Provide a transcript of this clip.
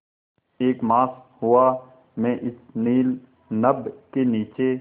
एक मास हुआ मैं इस नील नभ के नीचे